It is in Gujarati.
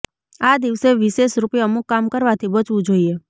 આ દિવસે વિશેષરૂપે અમુક કામ કરવાથી બચવું જોઈએ